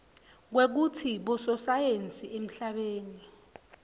kwekutsi bososayensi emhlabeni